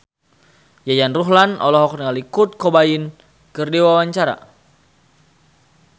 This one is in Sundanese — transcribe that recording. Yayan Ruhlan olohok ningali Kurt Cobain keur diwawancara